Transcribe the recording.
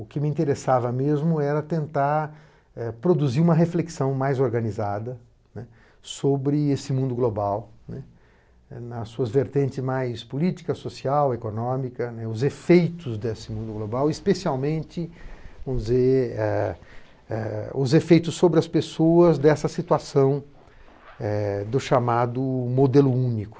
O que me interessava mesmo era tentar, eh, produzir uma reflexão mais organizada, né, sobre esse mundo global, né, nas suas vertentes mais política, social, econômica, né, os efeitos desse mundo global, especialmente, vamos dizer, eh eh, os efeitos sobre as pessoas dessa situação, eh, do chamado modelo único.